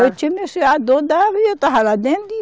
Eu tinha meu filho, a dor dava e eu estava lá dentro e.